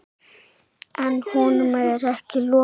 En honum er ekki lokið.